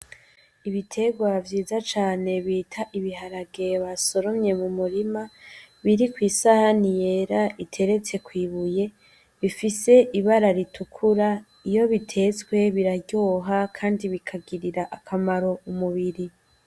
Ibitegwa vyiza cane bita ibiharage basoromye mu murima, biri kw'isahani yera iteretse kw'ibuye bifise ibara ritukura, iyo bitetswe biraryoha kandi bikagirira akamaro umubiri.